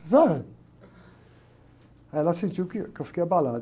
Precisava? Aí ela sentiu que, que eu fiquei abalado.